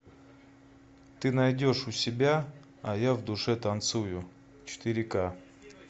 ты найдешь у себя а я в душе танцую четыре к